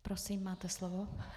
Prosím, máte slovo.